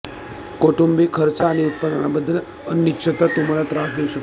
कौटुंबिक खर्च आणि उत्पन्नाबद्दल अनिश्चितता तुम्हाला त्रास देऊ शकते